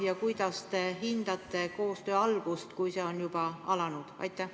Ja kuidas te hindate koostöö algust, kui see on juba alanud?